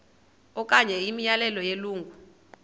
okanye imiyalelo yelungu